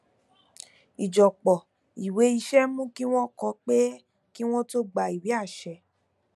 ìjọpọ ìwé iṣẹ mú kí wọn kó pẹ kí wọn tó gba ìwé àṣẹ